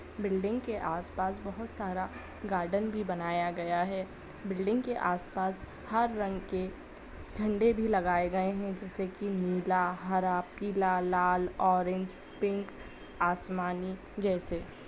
building के आस-पास बहुत सारा गार्डन भी बनाया गया हैं बिल्डिंग के आस-पास हर रंग के झंडे भी लगाए गए हैं जैसे कि नीला हरा पीला लाल ऑरेंज पिंक आसमानी जैसे --